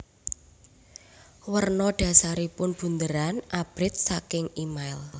Werna dhasaripun bunderan abrit saking email